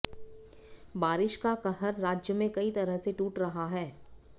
बारिश का कहर राज्य में कई तरह से टूट रहा है